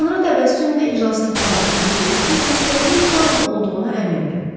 Sonra təbəssümlə iştirakçıları süzüb dedi ki, xəstəliyin Taun olduğuna əmindir.